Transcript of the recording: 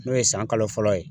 N'o ye san kalo fɔlɔ ye